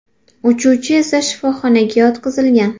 Uchuvchi esa shifoxonaga yotqizilgan.